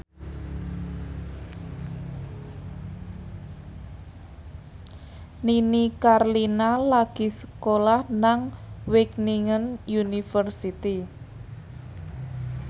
Nini Carlina lagi sekolah nang Wageningen University